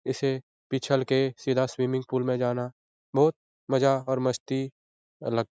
इसे पिसल के सीधा स्विमिंग पूल में जाना बहुत मजा और मस्ती आ --